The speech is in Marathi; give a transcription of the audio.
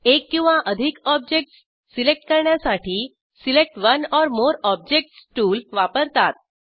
एक किंवा अधिक ऑब्जेक्टस सिलेक्ट करण्यासाठी select one or more objects tool वापरतात